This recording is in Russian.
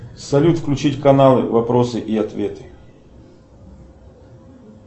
салют включить каналы вопросы и ответы